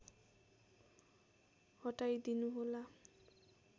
हटाइदिनु होला